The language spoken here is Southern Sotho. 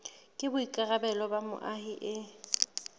ke boikarabelo ba moahi e